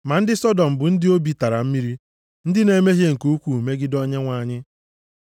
Ma ndị Sọdọm bụ ndị obi tara mmiri, ndị na-emehie nke ukwuu megide Onyenwe anyị.